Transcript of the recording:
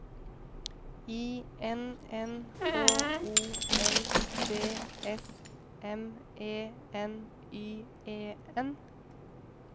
I N N H O L D S M E N Y E N